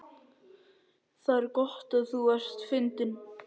Það er gott að þú ert fundinn.